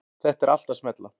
Þetta er allt að smella.